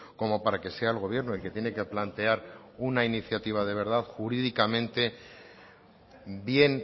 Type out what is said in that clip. como para que sea el gobierno el que tiene que plantear una iniciativa de verdad jurídicamente bien